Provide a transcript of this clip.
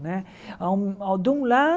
Né a um a um de um